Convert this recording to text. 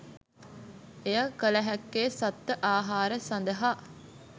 එය කලහැක්කේ සත්ව ආහාර සඳහා